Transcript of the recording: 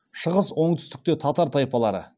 шығыс оңтүстікте татар тайпалары